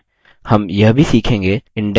हम यह भी सीखेंगे